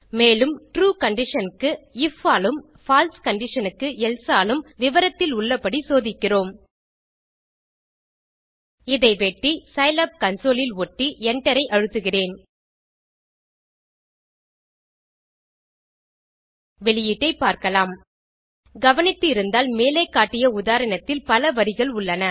மேலும் true condition க்கு if ஆலும் பால்சே conditionக்கு எல்சே ஆலும் விவரத்திலுள்ளபடி சோதிக்கிறோம் இதை வெட்டி சிலாப் கன்சோல் இல் ஒட்டி enter ஐ அழுத்துகிறேன் வெளியீட்டைப் பார்க்கலாம் கவனித்து இருந்தால் மேலே காட்டிய உதாரணத்தில் பல வரிகள் உள்ளன